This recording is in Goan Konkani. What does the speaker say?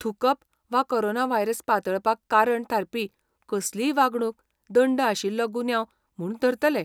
थूंकप वा कोरोना व्हायरस पातळपाक कारण थारपी कसलीय वागणूक दंड आशिल्लो गुन्यांव म्हूण धरतले.